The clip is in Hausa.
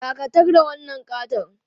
Dakatar da wannan ƙaton!